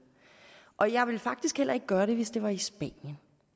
og jeg ville faktisk heller ikke gøre det hvis det var i spanien